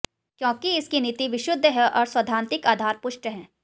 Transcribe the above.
क्योंकि इसकी नीति विशुद्ध है और सैद्धांतिक आधार पुष्ट है